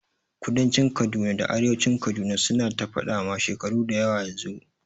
Kudancin Kaduna da arewacin Kaduna su na ta faɗa ma shekaru dayawa yanzu